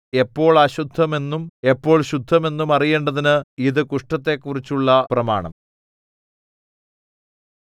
എപ്പോൾ അശുദ്ധമെന്നും എപ്പോൾ ശുദ്ധമെന്നും അറിയേണ്ടതിന് ഇതു കുഷ്ഠത്തെക്കുറിച്ചുള്ള പ്രമാണം